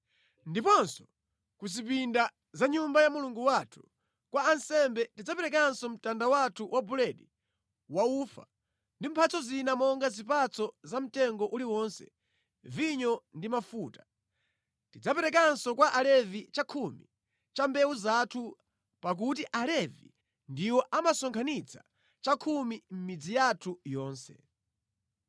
“Ndiponso ku zipinda za Nyumba ya Mulungu wathu, kwa ansembe tidzaperekanso mtanda wathu wa buledi wa ufa ndi mphatso zina monga zipatso za mtengo uliwonse, vinyo ndi mafuta. Tidzaperekanso kwa alevi chakhumi cha mbewu zathu pakuti alevi ndiwo amasonkhanitsa chakhumi mʼmidzi yathu yonse.